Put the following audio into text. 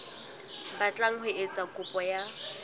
batlang ho etsa kopo ya